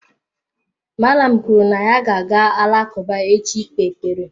Mallam kwuru na ya ga-aga alakụba echi ị kpee ekpere.